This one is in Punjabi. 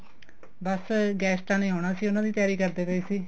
ਬੱਸ guest ਨੇ ਆਉਣਾ ਸੀ ਉਹਨਾ ਦੀ ਤਿਆਰੀ ਕਰਦੇ ਪਏ ਸੀ